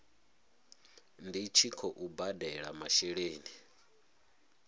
ndi tshi khou badela masheleni